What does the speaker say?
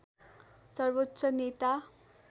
सर्वोच्च नेता